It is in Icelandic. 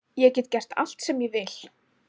Ég get gert allt sem ég vil.